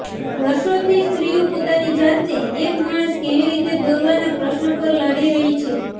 વર્ષોથી સ્ત્રીઓ પોતાની જાતને એક માણસ કેવી રીતે દોરવાના પ્રશ્ન પર લડી રહી છે